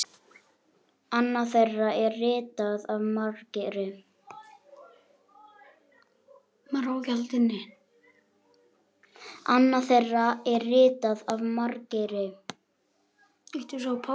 Annað þeirra er ritað af Margeiri